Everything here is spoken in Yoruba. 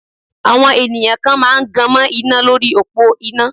Àwọn ènìyàn kan máa gan mọ́ iná lórí òpó iná.